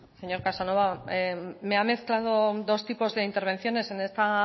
señor casanova me ha mezclado dos tipos de intervenciones en esta